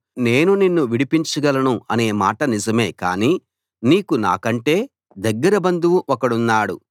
నేను నిన్ను విడిపించగలను అనే మాట నిజమే కానీ నీకు నాకంటే దగ్గర బంధువు ఒకడున్నాడు